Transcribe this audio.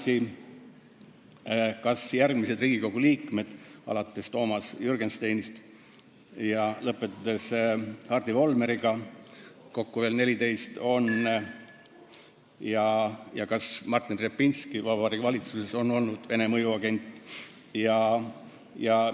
Teine asi, kas järgmised Riigikogu liikmed alates Toomas Jürgensteinist ja lõpetades Hardi Volmeriga, kokku 14, ning Martin Repinski Vabariigi Valitsuses on olnud Vene mõjuagendid?